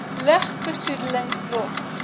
lug besoedeling nog